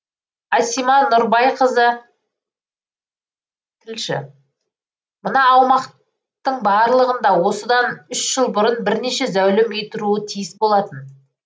асима нұрбайқызы тілші мына аумақтың барлығында осыдан үш жыл бұрын бірнеше зәулім үй тұруы тиіс болатын